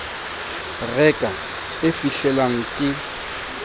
re ka e fihlelang ke